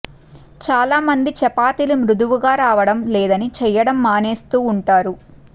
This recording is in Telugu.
చాలా మంది చపాతీలు మృదువుగా రావటం లేదని చేయటం మానేస్తు ఉంటారు